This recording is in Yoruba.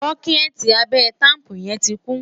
bokiti Abe taapu yen tí kún